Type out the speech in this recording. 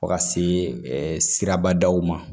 Fo ka se sirabadaw ma